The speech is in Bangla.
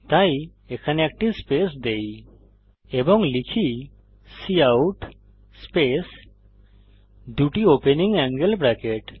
তাই এখানে একটি স্পেস দেই এবং লিখি কাউট স্পেস দুটি ওপেনিং অ্যাঙ্গেল ব্রেকেট